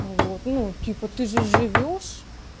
вот ну типа ты же живёшь